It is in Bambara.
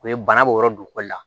U ye bana b'o yɔrɔ dugu la